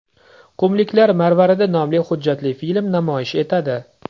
Qumliklar marvaridi” nomli hujjatli film namoyish etadi.